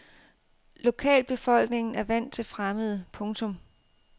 Lokalbefolkningen er vant til fremmede. punktum